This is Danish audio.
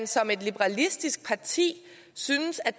som et liberalistisk parti synes at